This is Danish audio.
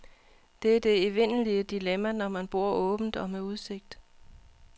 Det er det evindelige dilemma, når man bor åbent og med udsigt.